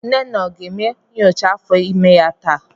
Nnenna aga eme nyocha afọ imé ya taa?